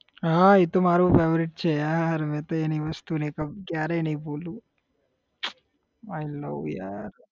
હા ઈ તો મારું favourite છે યાર મેં તો એની વસ્તુ ક્યારે નઈ ભૂલું i love yaar